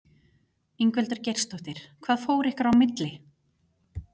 Ingveldur Geirsdóttir: Hvað fór ykkar á milli?